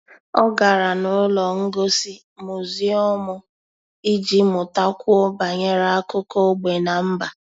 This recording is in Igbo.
Ọ́ gárá n’ụ́lọ́ ngosi muziọ́m iji mụ́takwuo banyere ákụ́kọ́ ógbè na mba.